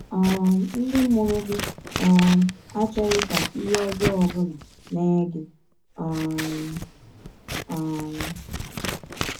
um Ndị mụrụ gị um achọghị ka ihe ọjọọ ọ bụla mee gị. um. um